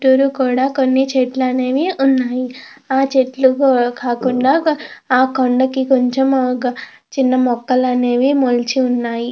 చుట్టురు కోడా కొన్ని చెట్లనేవి ఉన్నాయి. ఆ చెట్లు కూడా కాకుండా ఆ కొండకి కొంచెం మొక్కలు అనేవి మొలచి ఉన్నాయి.